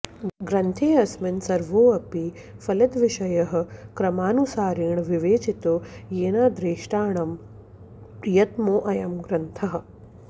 ग्रन्थेऽस्मिन् सर्वोऽपि फलितविषयः क्रमानुसारेण विवेचितो येनादेष्ट्रणां प्रियतमोऽयं ग्रन्थः